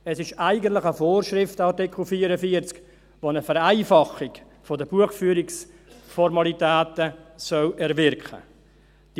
Dieser Artikel 44 ist eigentlich eine Vorschrift, die eine Vereinfachung der Buchführungsformalitäten erwirken soll.